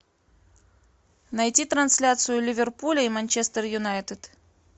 найти трансляцию ливерпуля и манчестер юнайтед